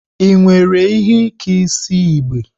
Ị nwere ihe Ike isi igbe?